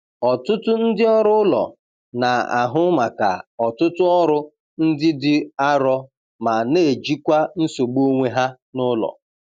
Ọtụtụ ndị ọrụ ụlọ na-ahụ maka ọtụtụ ọrụ ndị dị arọ ma na- ejikwa nsogbu onwe ha n'ụlọ.